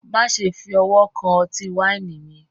Maṣẹ fi ọwọ̀ kan ọ̀tí-waini mi